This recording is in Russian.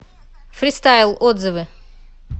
фристайл отзывы